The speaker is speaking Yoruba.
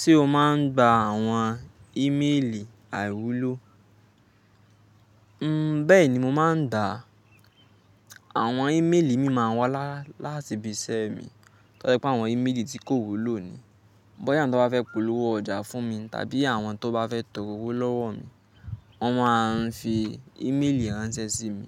Ṣé o máa ń gba àwọn ímeèlì àìwúlò? Hm, bẹ́ẹ̀ni mo máa ń dá, àwọn ímeèlì mi máa ń wá láti ibi iṣẹ́ mi, tó jẹ́ pé àwọn ímeèlì tí kò wúlò ni. Bóyá èyí tí wọ́n bá fẹ́ polówó ọjà fún mi, tàbí àwọn tó bá fẹ́ tọrọ owó lọ́wọ́ mi, wọ́n máa ń fi ímeèlì ránṣẹ́ sí mi.